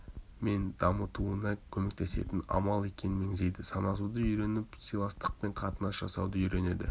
мен дамытуына көмектесетін амал екенін меңзейді санасуды үйреніп сыйластықпен қатынас жасауды үйренеді